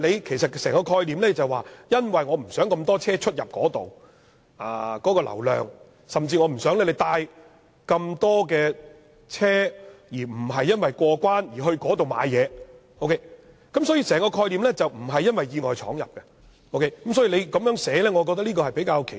其實整個概念就是為了不想有這麼多車輛在那裏出入，想限制車流量，甚至不想這麼多車輛進入不是為了過關而是為了購物，整個概念不是為免意外闖入，所以我覺得這樣寫比較奇怪。